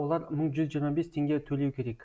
олар мың жүз жиырма бес теңге төлеу керек